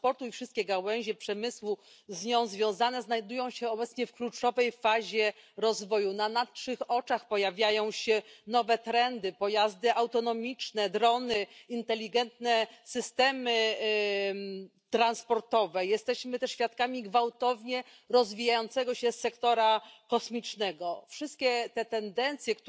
Gospodine predsjedavajući, transformacija sektora mobilnosti potaknuta digitalizacijom gospodarstva očito zahtijeva prilagodbu zakonodavnog okvira i politike Unije na tom području. Nova stručna znanja i načini rada koje implicira ta transformacija